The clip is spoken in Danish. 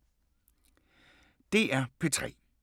DR P3